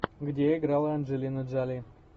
где играла анджелина джоли